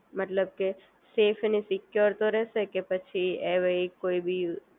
મતલબ કે સેફ અને સિક્યોર રહેશે કે પછી એવઈ કોઈ બી